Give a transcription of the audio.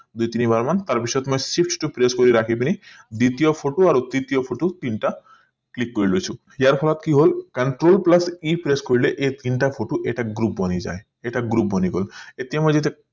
দুই তিনি বাৰ মান তাৰ পিছত মই shift টো press কৰি ৰাখি পিনি দ্বিতীয় photo আৰু তিতীয় photo তিনটা click কৰি লৈছো ইয়াৰ ফলত কি হল control plus e press কৰিলে এই তিনটা photo এটা group বনি যাই এটা group বনি গল